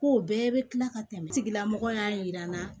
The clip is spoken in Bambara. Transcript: Kow bɛɛ bɛ tila ka tɛmɛ tigilamɔgɔ y'a jira n na